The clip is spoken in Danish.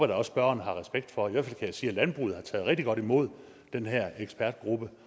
da også spørgeren har respekt for i hvert fald jeg sige at landbruget har taget rigtig godt imod den her ekspertgruppe